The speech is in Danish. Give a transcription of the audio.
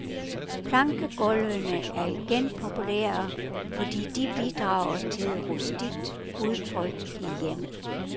Plankegulvene er igen populære, fordi de bidrager til et rustikt udtryk i hjemmet.